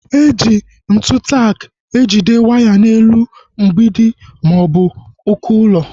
Eji ntụ tak ejide waya n'elu mgbidi maọbụ uko ụlọ